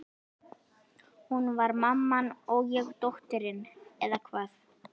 Hún var mamman og ég dóttirin, eða hvað?